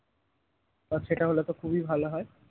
আচ্ছা সেটা হলে তো খুবই ভালো হয়